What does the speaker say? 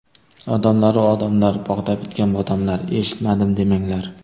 Odamlaru odamlar, bog‘da bitgan bodomlar eshitmadim demanglar!